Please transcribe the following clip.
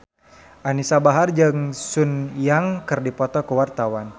Anisa Bahar jeung Sun Yang keur dipoto ku wartawan